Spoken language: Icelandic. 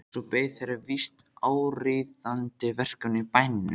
Svo beið þeirra víst áríðandi verkefni í bænum.